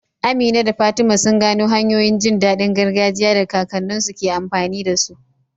Amina da Fatima sun gano hanyoyin jin daɗin gargajiya da kakanninsu ke amfani da su.